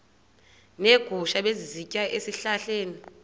neegusha ebezisitya ezihlahleni